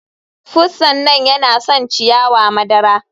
Pussan nan yana son ciyawa madara.